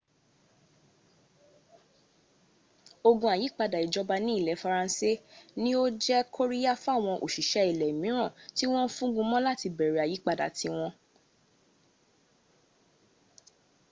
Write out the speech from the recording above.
ogun àyípadà ìjọba ní ilẹ̀ faransé ní ó jẹ́ kóríyá fáwọn òsìṣẹ́ ilẹ̀ míràn tí wọ́n ń fúngun mọ́ láti bẹ̀rẹ̀ àyípadà ti wọn